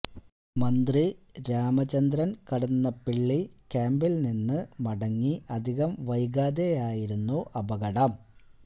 മന്ത്രി രാമചന്ദ്രന് കടന്നപ്പള്ളി ക്യാമ്പില് നിന്ന് മടങ്ങി അധികം വൈകാതെയായിരുന്നു അപകടം